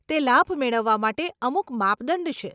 તે લાભ મેળવવા માટે અમુક માપદંડ છે.